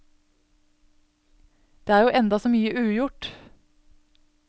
Det er jo enda så mye ugjort.